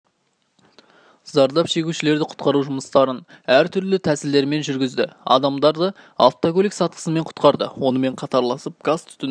зардап шегушілерді құтқару жұмыстарын әр түрлі тәсілдермен жүргізді адамдарды автокөлік сатысымен құтқарды онымен қатарласып газ-түтіннен